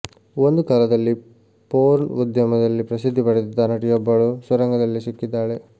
ಒಂದು ಕಾಲದಲ್ಲಿ ಪೋರ್ನ್ ಉದ್ಯಮದಲ್ಲಿ ಪ್ರಸಿದ್ಧಿ ಪಡೆದಿದ್ದ ನಟಿಯೊಬ್ಬಳು ಸುರಂಗದಲ್ಲಿ ಸಿಕ್ಕಿದ್ದಾಳೆ